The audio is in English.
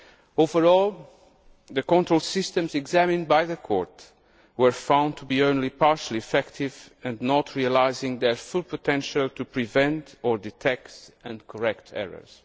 Overall, the control systems examined by the Court were found to be only partially effective and not realising their full potential to prevent or detect and correct errors.